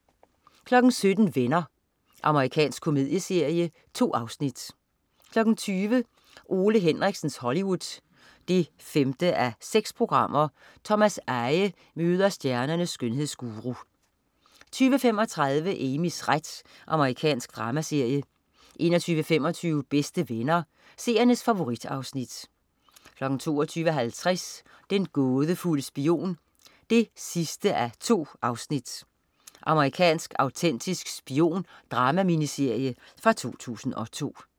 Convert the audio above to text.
17.00 Venner. Amerikansk komedieserie. 2 afsnit 20.00 Ole Henriksens Hollywood 5:6. Thomas Eje møder stjernernes skønhedsguru 20.35 Amys ret. Amerikansk dramaserie 21.25 Bedste Venner. Seernes favorit-afsnit 22.50 Den gådefulde spion 2:2. Amerikansk autentisk spion-dramaminiserie fra 2002